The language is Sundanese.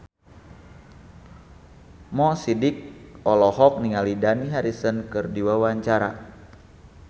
Mo Sidik olohok ningali Dani Harrison keur diwawancara